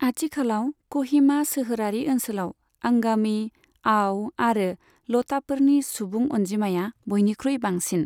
आथिखालाव क'हिमा सोहोरारि ओनसोलाव आंगामि, आव आरो लटाफोरनि सुबुं अनजिमाया बयनिख्रुइ बांसिन।